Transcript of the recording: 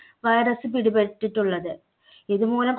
virus പിടിപെട്ടിട്ടുള്ളത്. ഇതുമൂലം കു